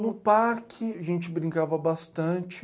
No parque, a gente brincava bastante.